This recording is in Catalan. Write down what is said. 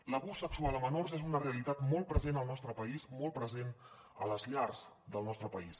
l’abús sexual a menors és una realitat molt present al nostre país molt present a les llars del nostre país